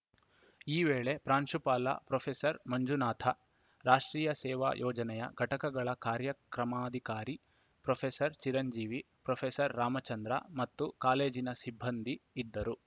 ಈ ವೇಳೆ ಪ್ರಾಂಶುಪಾಲ ಪ್ರೊಫೆಸರ್ ಮಂಜುನಾಥ ರಾಷ್ಟ್ರೀಯ ಸೇವಾ ಯೋಜನೆಯ ಘಟಕಗಳ ಕಾರ್ಯಕ್ರಮಾಧಿಕಾರಿ ಪ್ರೊಫೆಸರ್ ಚಿರಂಜೀವಿ ಪ್ರೊಫೆಸರ್ ರಾಮಚಂದ್ರ ಮತ್ತು ಕಾಲೇಜಿನ ಸಿಬ್ಬಂದಿ ಇದ್ದರು